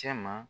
Cɛ ma